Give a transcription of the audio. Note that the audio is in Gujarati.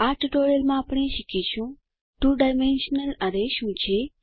આ ટ્યુટોરીયલમાં આપણે શીખીશું 2 ડાયમેન્શનલ એરે શું છે